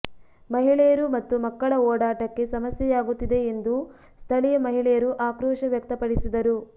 ಮಹಿಳೆಯರು ಮತ್ತು ಮಕ್ಕಳ ಓಡಾಟಕ್ಕೆ ಸಮಸ್ಯೆಯಾಗುತ್ತಿದೆ ಎಂದು ಸ್ಥಳೀಯ ಮಹಿಳೆಯರು ಆಕ್ರೊೀಶ ವ್ಯಕ್ತಪಡಿಸಿದರು